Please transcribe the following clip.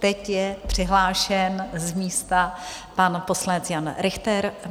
Teď je přihlášen z místa pan poslanec Jan Richter.